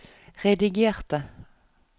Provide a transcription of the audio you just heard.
redigerte